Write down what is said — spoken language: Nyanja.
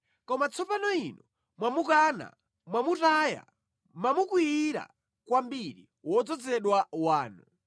“Koma tsopano Inu mwamukana, mwamutaya, mwamukwiyira kwambiri wodzozedwa wanu.